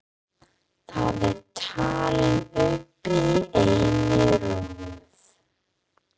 Þar eru talin upp í einni röð